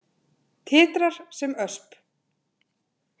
Titrar sem ösp.